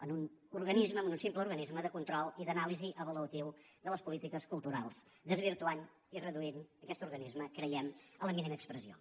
en un organisme en un simple organisme de control i d’anàlisi avaluativa de les polítiques culturals desvirtuant i reduint aquest organisme creiem a la mínima expressió